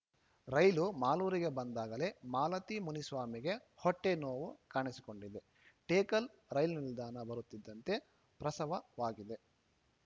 ರೈಲು ಮಾಲೂರಿಗೆ ಬಂದಾಗಲೇ ಮಾಲತಿಮುನಿಸ್ವಾಮಿಗೆ ಹೊಟ್ಟೆನೋವು ಕಾಣಿಸಿಕೊಂಡಿದೆ ಟೇಕಲ್‌ ರೈಲು ನಿಲ್ದಾಣ ಬರುತ್ತಿದ್ದಂತೆ ಪ್ರಸವವಾಗಿದೆ